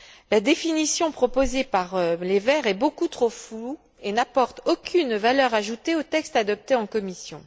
La définition proposée par les Verts est beaucoup trop floue et n'apporte aucune valeur ajoutée au texte adopté en commission.